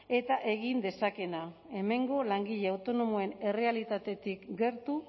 eta egin dezakeena hemengo langile autonomoen errealitatetik gertu